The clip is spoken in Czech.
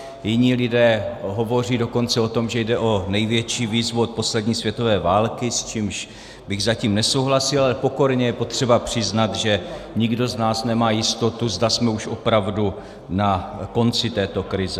Jiní lidé hovoří dokonce o tom, že jde o největší výzvu od poslední světové války, s čímž bych zatím nesouhlasil, ale pokorně je potřeba přiznat, že nikdo z nás nemá jistotu, zda jsme už opravdu na konci této krize.